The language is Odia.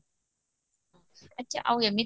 ଆଛା ଆଉ ଏମିତି